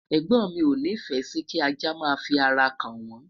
ẹgbọn mi o ni fe Si kí ajá má fi ará ka n won